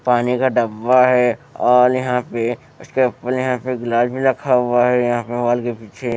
पानी का डब्बा है और यहां पे उसके ऊपर यहां पे गिलास भी रखा हुआ है यहां पे मोबाइल के पीछे।